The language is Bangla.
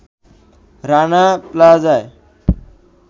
রানা প্লাজায়